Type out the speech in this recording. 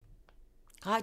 Radio 4